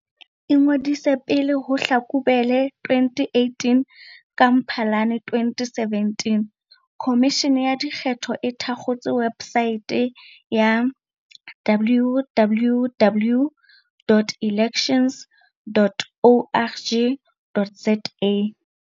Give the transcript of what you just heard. Ingodise pele ho Hlakubele 2018 Ka Mphalane 2017, Khomishene ya Dikgetho e thakgotse websaete, www.elections.org.za.